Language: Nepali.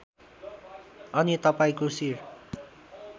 अनि तपाईँको शिर